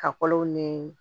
Kakɔlɔw niii